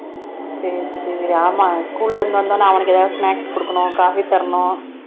சரி சரி ஆமா school ல இருந்து வந்த உடனே அவனுக்கு ஏதாவது snacks கொடுக்கணும் coffee தரணும்